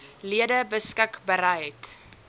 lede beskik bereid